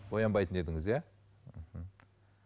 боянбайтын едіңіз иә мхм